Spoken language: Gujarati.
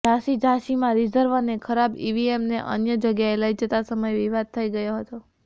ઝાંસી ઝાંસીમાં રિઝર્વ અને ખરાબ ઈવીએમને અન્ય જગ્યાએ લઈ જતા સમયે વિવાદ થઈ ગયો